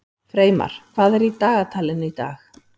Freymar, hvað er í dagatalinu í dag?